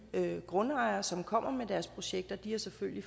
grundejere som kommer med deres projekter selvfølgelig